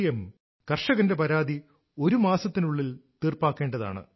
M കർഷകന്റെ പരാതി ഒരു മാസത്തിനുള്ളിൽ തീർപ്പാക്കേണ്ടതാണ്